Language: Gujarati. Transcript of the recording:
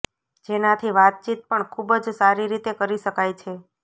જેનાથી વાતચીત પણ ખૂબ જ સારી રીતે કરી શકાય છે